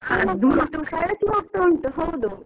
ಹಳಸಿ ಹೋಗ್ತಾ ಉಂಟು ಹೌದು.